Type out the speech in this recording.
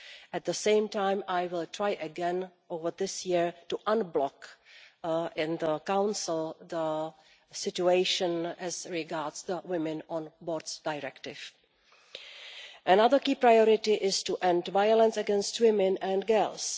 At the same time, I will try again over this year to unblock the situation in the Council as regards the women on boards directive. Another key priority is to end violence against women and girls.